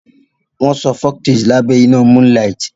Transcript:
Folktales are told under monnlight